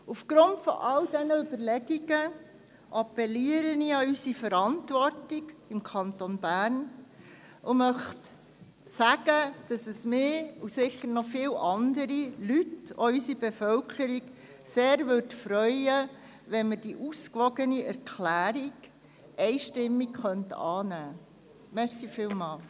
Aufgrund all dieser Überlegungen appelliere ich an unsere Verantwortung im Kanton Bern, und ich möchte sagen, dass es mich, und sicher noch andere Leute, unsere Bevölkerung, sehr freuen würde, wenn wir diese ausgewogene Erklärung einstimmig annehmen könnten.